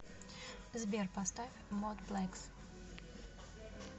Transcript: сбер поставь модплекс